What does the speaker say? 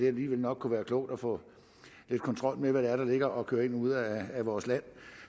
alligevel nok kunne være klogt at få lidt kontrol med hvad det er der ligger og kører ind og ud af vores land